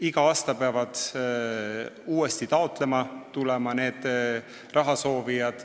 Iga aasta peavad rahasoovijad uuesti taotlema tulema.